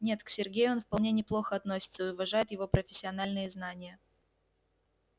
нет к сергею он вполне неплохо относится и уважает его профессиональные знания